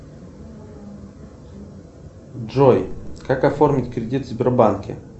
джой как оформить кредит в сбербанке